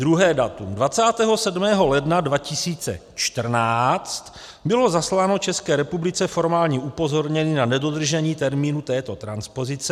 Druhé datum: 27. ledna 2014 bylo zasláno České republice formální upozornění na nedodržení termínu této transpozice.